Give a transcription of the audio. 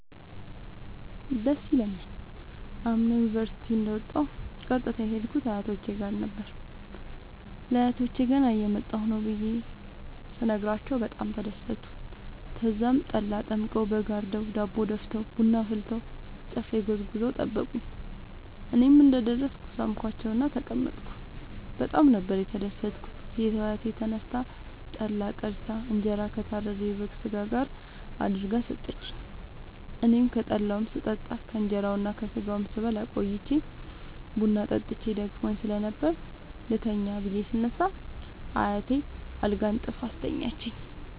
ደስ ይለኛል። አምና ዩኒቨርሢቲ እንደ ወጣሁ ቀጥታ የሄድኩት አያቶቼ ጋር ነበር። ለአያቶቸ ገና እየመጣሁ ነዉ ብየ በጣም ተደሠቱ። ተዛም ጠላ ጠምቀዉ በግ አርደዉ ዳቦ ደፍተዉ ቡና አፍልተዉ ጨፌ ጎዝጉዘዉ ጠበቁኝ። እኔም እንደ ደረስኩ ሣምኳቸዉእና ተቀመጥኩ በጣም ነበር የተደትኩት ሴቷ አያቴ ተነስታ ጠላ ቀድታ እንጀራ ከታረደዉ የበግ ስጋ ጋር አድርጋ ሠጠችኝ። አኔም ከጠላዉም ስጠጣ ከእንራዉና ከስጋዉም ስበላ ቆይቼ ቡና ጠጥቼ ደክሞኝ ስለነበር ልተኛ ብየ ስነሳ አያቴ አልጋ አንጥፋ አስተኛችኝ።